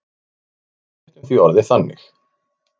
Við leiðréttum því orðið þannig.